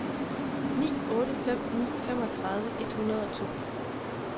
ni otte fem ni femogtredive et hundrede og to